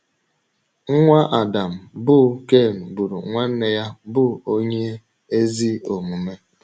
Nwa Adam bụ́ Ken gburu nwanne ya bụ́ onye ezi omume.